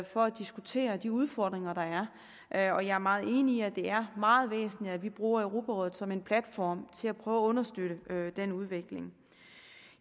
for at diskutere de udfordringer der er og jeg er meget enig i at det er meget væsentligt at vi bruger europarådet som en platform til at prøve at understøtte den udvikling